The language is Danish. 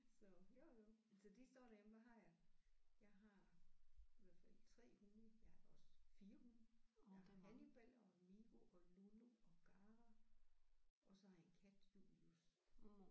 Så jo jo så de står derhjemme og har jeg jeg har i hvert fald 3 hunde jeg har også 4 hunde jeg har Hannibal og Migo og Lulu og Gara og så har jeg en kat Julius